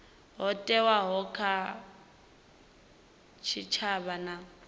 ho thewaho kha tshitshavha na